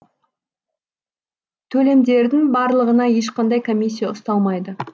төлемдердің барлығына ешқандай комиссия ұсталмайды